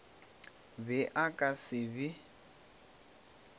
be a ka se be